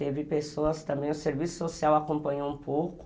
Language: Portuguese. Teve pessoas também, o serviço social acompanhou um pouco,